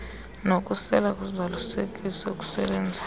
nokuswela ukuzalisekisa okusebenzayo